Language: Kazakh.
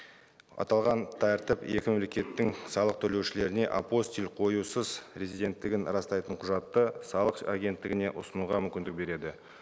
аталған тәртіп екі мемлекеттің салық төлеушілеріне апостиль қоюсыз резиденттігін растайтын құжатты салық агенттігіне ұсынуға мүмкіндік береді